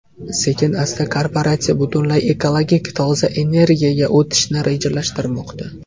Sekin-asta korporatsiya butunlay ekologik toza energiyaga o‘tishni rejalashtirmoqda.